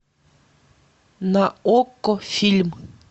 на окко фильм